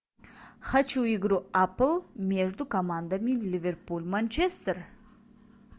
хочу игру апл между командами ливерпуль манчестер